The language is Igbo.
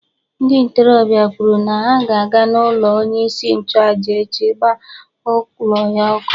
Ndị ntorobịa kwuru na ha ga-aga n’ụlọ onye isi nchụaja echi gbaa ụlọ ya ọkụ.